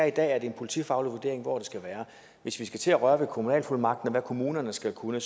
i dag er en politifaglig vurdering hvor det skal være hvis vi skal til at røre ved kommunalfuldmagten og hvad kommunerne skal kunne